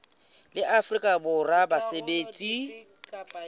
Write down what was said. la afrika borwa la basebetsi